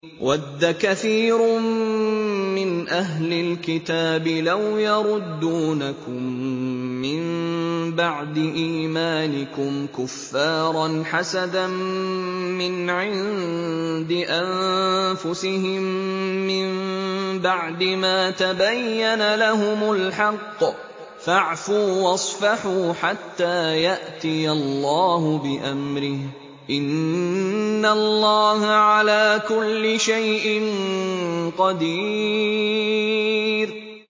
وَدَّ كَثِيرٌ مِّنْ أَهْلِ الْكِتَابِ لَوْ يَرُدُّونَكُم مِّن بَعْدِ إِيمَانِكُمْ كُفَّارًا حَسَدًا مِّنْ عِندِ أَنفُسِهِم مِّن بَعْدِ مَا تَبَيَّنَ لَهُمُ الْحَقُّ ۖ فَاعْفُوا وَاصْفَحُوا حَتَّىٰ يَأْتِيَ اللَّهُ بِأَمْرِهِ ۗ إِنَّ اللَّهَ عَلَىٰ كُلِّ شَيْءٍ قَدِيرٌ